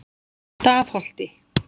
Stafholti